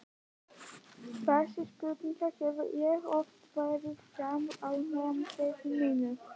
Þessari spurningu hef ég oft varpað fram á námskeiðunum mínum.